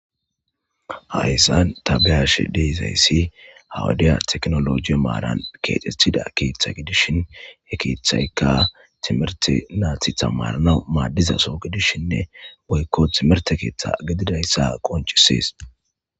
hayssan tabeyash deizayssi hawudiya teknoloji maaran keexethida keeththa gidishin he keethaykka timerte naathi tamanana maaddizaso gidishinne boykko timerte keeththa gedidayssa qonchisees